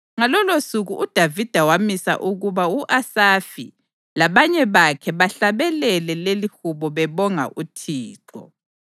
Ngalolosuku uDavida wamisa ukuba u-Asafi labanye bakhe bahlabelele lelihubo bebonga uThixo: